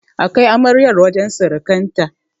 A kai amaryar wajen surukanta.